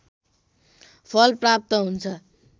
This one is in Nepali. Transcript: फल प्राप्त हुन्छ